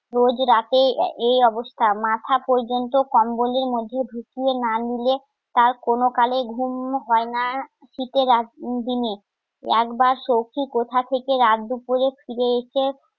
রোজ রাতে এই অবস্থা মাথা পর্যন্ত কম্বলের মধ্যে ধুঁকিয়ে না নিলে তার কোনোকালে ঘুম হয় না শীতের রাতে দিনে একবার সখি কোথা থেকে রাত দুপুরে ফিরে এসে